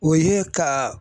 O ye ka